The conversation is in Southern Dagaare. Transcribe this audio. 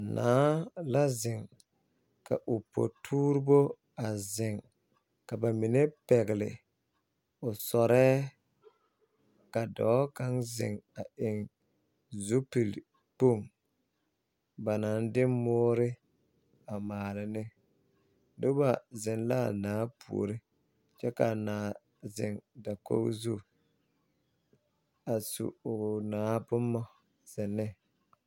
Naa la zeŋ ka o potuuribo a zeŋ ka ba mine pɛgle o sɔrɛɛ ka dɔɔ kaŋ zeŋ a eŋ zupili boŋ naŋ de moore a maale ne noba seŋ la a naa puoriŋ kyɛ ka a zeŋ dakogi zu a su o naa boma zeŋ ne.